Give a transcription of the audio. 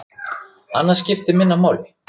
Annað skipti minna máli.